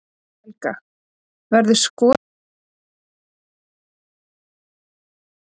Helga: Verður skorið niður í hagræðingarskyni?